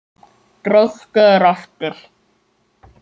Breyttu þér aftur!